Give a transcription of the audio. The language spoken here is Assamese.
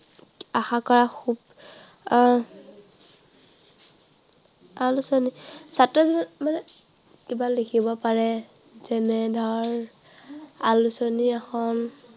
আশা কৰা আহ আলোচনী ছাত্ৰ মানে আহ কিবা লিখিব পাৰে। যেনে ধৰক আলোচনী এখন